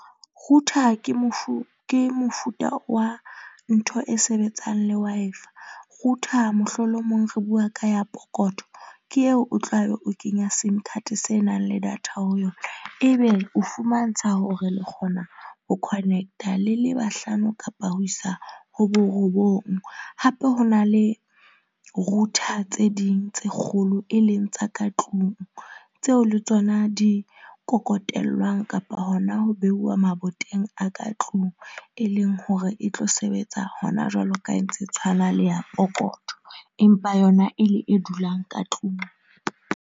Router ke , ke mofuta wa ntho e sebetsang le Wi-Fi. Router mohlomong lo re bua ka ya pokoto. Ke eo o tlabe o kenya Sim card se nang le data ho yona. Ebe o fumantsha hore le kgona ho connect-a le le bahlano kapa ho isa ho borobong. Hape ho na le router tse ding tse kgolo, e leng tsa ka tlung tseo le tsona di kokotellwang kapa hona ho beuwa maboteng a ka tlung. E leng hore e tlo sebetsa hona jwalo ka e ntse e tshwana le ya pokotho empa yona e le e dulang ka tlung.